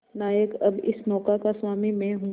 नायक अब इस नौका का स्वामी मैं हूं